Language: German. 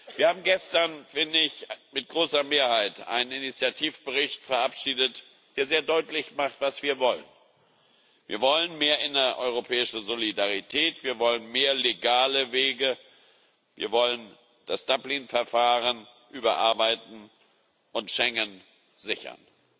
Wir haben gestern mit wie ich finde großer Mehrheit einen Initiativbericht verabschiedet, der sehr deutlich macht, was wir wollen Wir wollen mehr innereuropäische Solidarität, wir wollen mehr legale Wege, wir wollen das Dublin Verfahren überarbeiten und Schengen sichern.